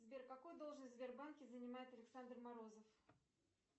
сбер какую должность в сбербанке занимает александр морозов